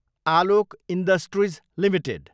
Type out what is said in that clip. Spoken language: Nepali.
Alok industries Ltd